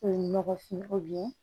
O ye nɔgɔfinko ye